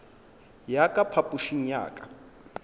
ya ka phapošing ya ka